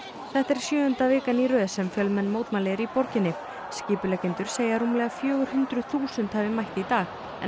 þetta er sjöunda vikan í röð sem fjölmenn mótmæli eru í borginni skipuleggjendur segja að rúmlega fjögur hundruð þúsund hafi mætt í dag en